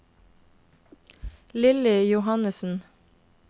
Lilly Johannesen